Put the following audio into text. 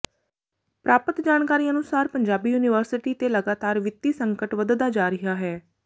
ਪ੍ਰਰਾਪਤ ਜਾਣਕਾਰੀ ਅਨੁਸਾਰ ਪੰਜਾਬੀ ਯੂਨੀਵਰਸਿਟੀ ਤੇ ਲਗਾਤਾਰ ਵਿੱਤੀ ਸੰਕਟ ਵੱਧਦਾ ਜਾ ਰਿਹਾ ਹੈ